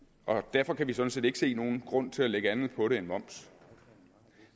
derfor kan vi sådan set ikke se nogen grund til at lægge andet på det end moms